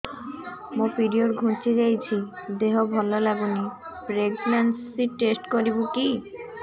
ମୋ ପିରିଅଡ଼ ଘୁଞ୍ଚି ଯାଇଛି ଦେହ ଭଲ ଲାଗୁନି ପ୍ରେଗ୍ନନ୍ସି ଟେଷ୍ଟ କରିବୁ କି